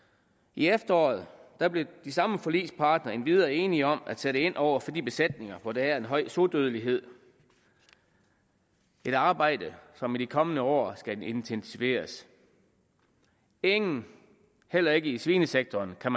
i efteråret blev de samme forligspartnere endvidere enige om at sætte ind over for de besætninger hvor der er en høj sodødelighed et arbejde som i de kommende år skal intensiveres ingen heller ikke i svinesektoren kan